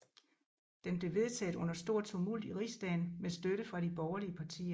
Den blev vedtaget under stor tumult i rigsdagen med støtte fra de borgerlige partier